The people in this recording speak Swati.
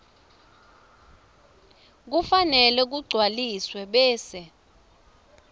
kufanele kugcwaliswe bese